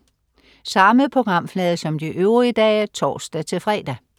Samme programflade som de øvrige dage (tors-fre)